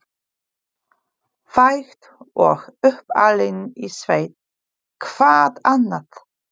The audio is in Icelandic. Fædd og uppalin í sveit, hvað annað?